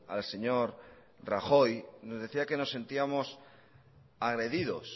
al señor rajoy nos decía que nos sentíamos agredidos